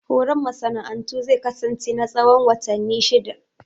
Horon masana'antu zai kasance na tsawon watanni shidda